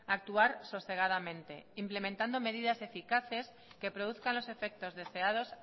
actuar sosegadamente implementando medidas eficaces que produzcan los efectos deseados